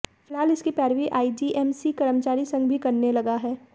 फिलहाल इसकी पैरवी आईजीएमसी कर्मचारी संघ भी करने लगा है